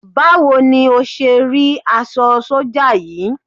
Báwo ni o ṣé rí aṣọ sọ́jà yìí?